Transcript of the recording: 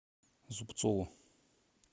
зубцову